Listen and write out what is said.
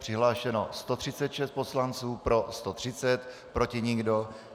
Přihlášeno 136 poslanců, pro 130, proti nikdo.